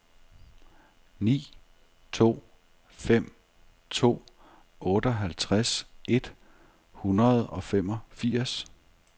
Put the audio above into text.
ni to fem to otteoghalvtreds et hundrede og femogfirs